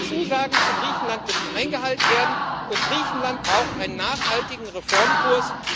Die Zusagen an Griechenland müssen eingehalten werden, und Griechenland braucht einen nachhaltigen Reformkurs.